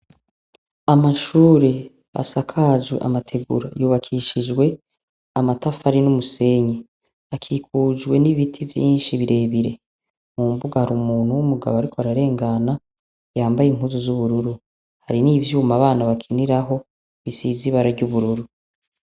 Amashure asakajwe amategura yubakishijwe amatafari n'umusenyi, akikujwe n'ibiti vyinshi birebire, mumbuga hari umuntu w'umugabo ari ko ararengana yambaye impuzu z'ubururu, hari n'ivyuma abana bakiniraho bisizibarary'ubururu.